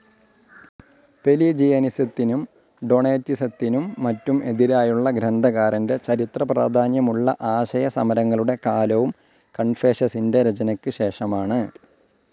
പെലിജിയനിസത്തിനും ഡൊണേറ്റിസത്തിനും മറ്റും എതിരായുള്ള ഗ്രന്ഥകാരൻ്റെ ചരിത്ര പ്രാധാന്യമുള്ള ആശയ സമരങ്ങളുടെ കാലവും കൺഫേഷസിൻ്റെ രചനയ്ക്ക് ശേഷമാണ്.